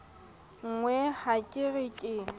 nkgolwe ha ke re ke